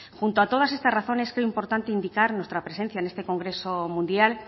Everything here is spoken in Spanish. junto a todas estas razones creo importante indicar nuestra presencia en este congreso mundial